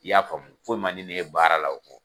I y'a faamu fɔ man di ne ye baara la o kɔ.